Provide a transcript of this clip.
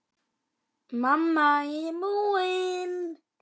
Mamma, ég er búin!